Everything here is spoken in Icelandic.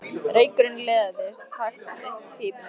Reykurinn liðaðist hægt upp úr pípunni.